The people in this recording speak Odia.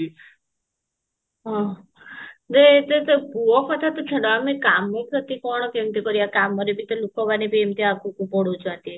ହଁ ଯେ ସେ ତ ପୁଅ କଥା ତ ଛାଡ ଆମେ କାମ ପ୍ରତି କଣ କେମିତି କରିବା କାମରେ ବି ତ ଲୋକ ମାନେ ଏମିତି ଆଗକୁ ବଢୁଛନ୍ତି